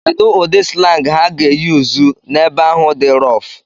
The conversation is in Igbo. Kedu ụdị slang ha ga-eyuzu n'ebe ahụ dị roff?